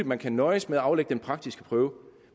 man kan nøjes med at aflægge den praktiske prøve